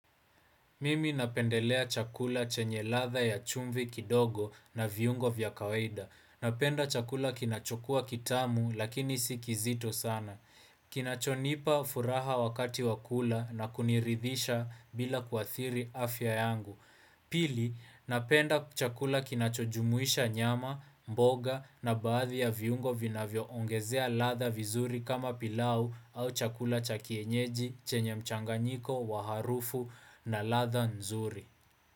Mimi napendelea chakula chenye ladha ya chumbi kidogo na viungo vya kawaida. Napenda chakula kinachokua kitamu lakini si kizito sana. Kinacho nipa furaha wakati wa kula na kuniridhisha bila kuathiri afya yangu. Pili, napenda chakula kinachojumuisha nyama, mboga na baadhi ya viungo vina vioongezea ladha vizuri kama pilau au chakula cha kienyeji chenye mchanganyiko wa harufu na ladha nzuri.